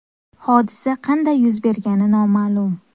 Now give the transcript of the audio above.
Hodisa qanday yuz bergani noma’lum.